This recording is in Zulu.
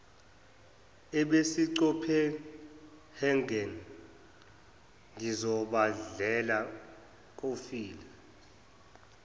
ebisecopenhagen ngozibandlela kofile